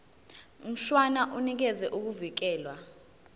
mshwana unikeza ukuvikelwa